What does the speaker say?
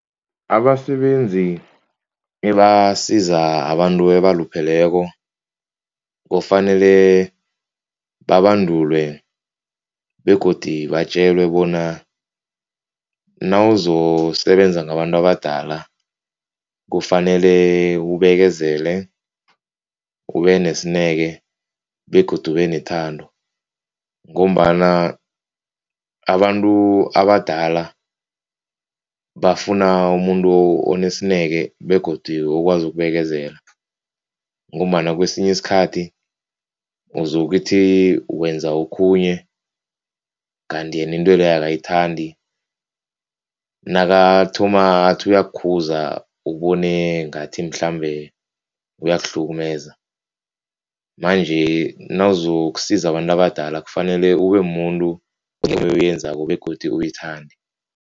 Abasebenzi ebasiza abantu ebalupheleko kufanele babandulwe begodu batjelwe bona nawuzo sebenza ngabantu abadala kufanele ubekezele ubenesineke begodu ubenethando ngombana abantu abadala bafuna umuntu onesineke begodu ukwazi ukubekezela ngombana kwesinye isikhathi uzokuthi wenza okhunye kanti yena into leyo akayithandi, nakathoma athi uyakukhuza ubone ngathi mhlambe uyakuhlukumeza manje, nawuzokusiza abantu abadala kufanele ube mumuntu begodu uyithande.